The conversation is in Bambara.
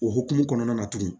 O hukumu kɔnɔna na tuguni